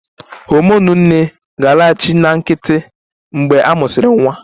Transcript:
Homonụ nne ga-alaghachi na nkịtị mgbe a mụsịrị nwa